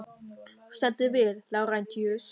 Þú stendur þig vel, Lárentíus!